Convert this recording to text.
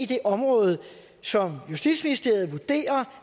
det område som justitsministeriet vurderer